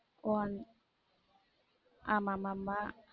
ஒ அந்த ஆமா ஆமா